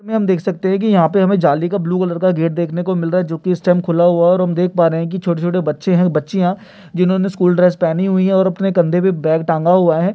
लगता है की यहां पे हमे जाली का ब्लू कलर का गेट देखने को मिल रहा है जोकि इस टाइम खुला हुआ है और हम देख पा रहे है की छोटे-छोटे बच्चे है बच्चियां जिन्होंने स्कूल ड्रेस पहनी हुई है और अपने कंधे पे बैग टांगा हुआ हैं।